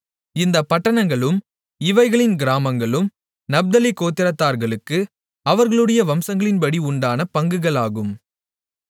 இந்தப் பட்டணங்களும் இவைகளின் கிராமங்களும் நப்தலி கோத்திரத்தார்களுக்கு அவர்களுடைய வம்சங்களின்படி உண்டான பங்குகள் ஆகும்